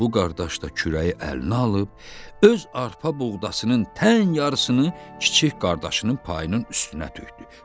Bu qardaş da kürəyi əlinə alıb, öz arpa buğdasının tən yarısını kiçik qardaşının payının üstünə tökdü.